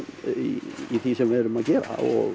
í því sem við erum að gera